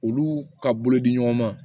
Olu ka bolo di ɲɔgɔn ma